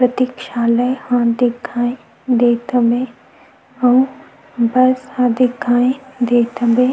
प्रतीक्षालय ह दिखाई देत हवे अउ बस दिखाई देत हवे --